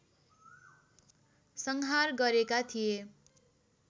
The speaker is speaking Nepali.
संहार गरेका थिए